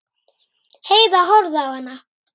Heiða horfði á hana.